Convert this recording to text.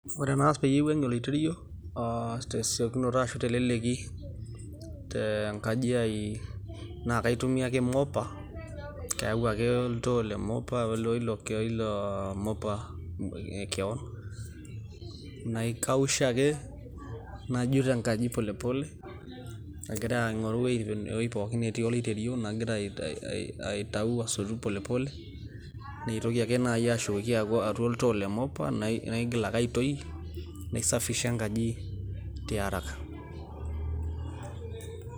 ore enaas pee aiwang'ie oloiterio tesiokinoto ashu teleleki, te nkaji ai naa kaitumia ake mopa, kayau ake oltoo le mopa, oilo mopa kewon, naikausha ake, najut enkaji polepole, agira aing'oru ewueji pookin netii loiterio, nagira aitayu asotu polepole, naitoki ake naaji ashukoki atua oltoo le mopa, naotoki aitoi enkaji tiaraka.